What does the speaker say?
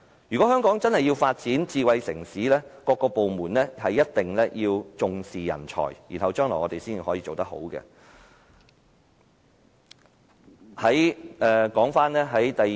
如果香港真的要發展成為智慧城市，各個部門便必須重視人才，我們將來才能做得更好。